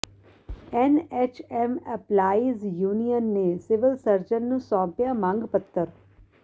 NHM employees union ਨੇ civil surgeon ਨੂੰ ਸੌਂਪਿਆ ਮੰਗ ਪੱਤਰ